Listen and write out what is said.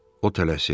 O tələsir.